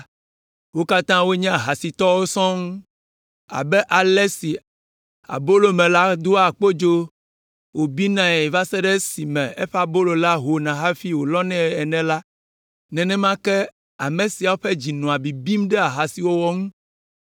Wo katã wonye ahasitɔwo sɔŋ. Abe ale si abolomela doa kpodzo wòbinae va se ɖe esime eƒe abolomɔ la ho hafi wòlɔnɛ ene la, nenema ke ame siawo ƒe dzi nɔa bibim ɖe ahasiwɔwɔ ŋu.